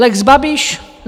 Lex Babiš.